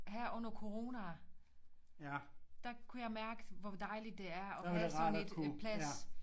Her under corona der kunne jeg mærke hvor dejligt det er at have sådan lidt øh plads